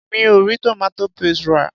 Mi ò rí tomato paste rà.